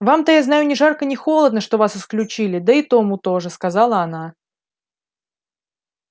вам-то я знаю ни жарко ни холодно что вас исключили да и тому тоже сказала она